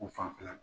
U fanfɛla